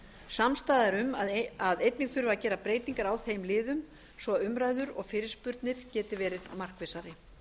samstaða er um að einnig þurfi að gera breytingar á þeim liðum svo umræður og fyrirspurnir verði markvissari